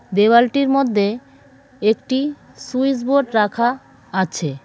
দেওয়ালটির মধ্যে একটি switch board রাখা আছে.